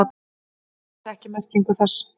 Hann vissi ekki merkingu þess.